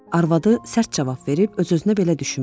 Arvadı sərt cavab verib öz-özünə belə düşünmüşdü.